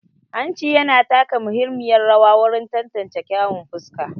Hanci yana taka muhimmiyar rawa wajen tantance kyawun fuska.